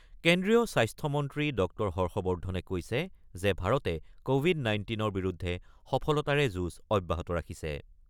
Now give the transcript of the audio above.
কেন্দ্ৰীয় স্বাস্থ্যমন্ত্ৰী ড হৰ্ষবৰ্দ্ধনে কৈছে যে ভাৰতে ক'ভিড ১৯ৰ বিৰুদ্ধে সফলতাৰে যুঁজ অব্যাহত ৰাখিছে।